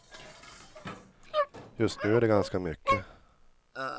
Just nu är det ganska mycket.